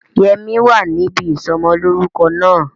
Yẹmí wa níbi ìsọmọlórúko náà